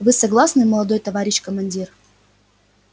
вы согласны молодой товарищ командир